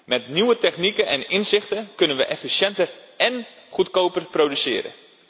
Met nieuwe technieken en inzichten kunnen we efficiënter en goedkoper produceren.